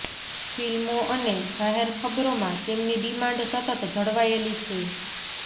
film ો અને જાહેરખબરોમાં તેમની ડિમાંડ સતત જળવાયેલી છે